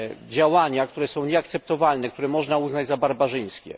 działania, które są nieakceptowalne, które można uznać za barbarzyńskie.